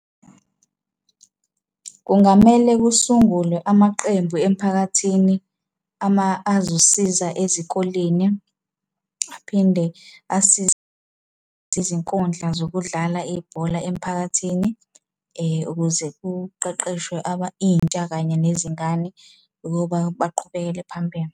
Kungamele kusungulwe amaqembu emphakathini azosiza ezikoleni, aphinde asize izinkundla zokudlala ibhola emphakathini ukuze kuqeqeshwe intsha kanye nezingane ukuba baqhubekele phambili.